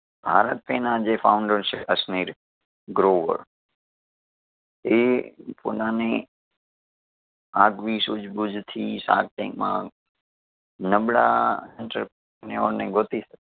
bharatpay ના જે founder છે અસનીર ગ્રોવર એ પોતાની આગવી સુજબૂજથી shark tank માં નબળા entrepreneur ઓને ગોતી શકે